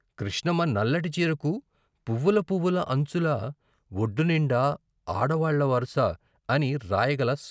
కృష్ణమ్మ నల్లటి చీరకు పువ్వుల పువ్వుల అంచులా ఒడ్డునిండా ఆడవాళ్ళ వరస అని రాయగల